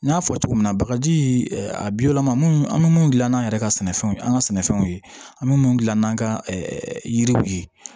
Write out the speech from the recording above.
N y'a fɔ cogo min na bagaji a bi wɔlɔma minnu an be mun gilan n'an yɛrɛ ka sɛnɛfɛnw ye an ka sɛnɛfɛnw ye an mi gila n'an ka yiriw ye